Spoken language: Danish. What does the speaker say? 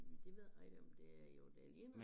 Det ved jeg ikke om det er jo det ligner